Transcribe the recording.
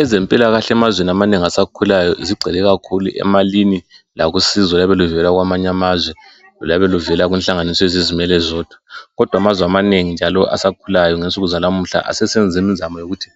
Ezempilakahle emazweni amanengi asakhulayo zigcwele kakhulu emalini lakusizo oluyabe luvela kwamanye amazwe loluyabe luvela kunhlanganiso ezizimele zodwa kodwa amazwe amanengi njalo asakhulayo ngensuku zanamuhla asesenza imizamo yokuthi